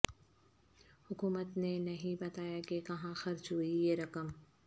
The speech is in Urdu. حکومت نے نہیں بتایا کہ کہاں خرچ ہوئی یہ رقم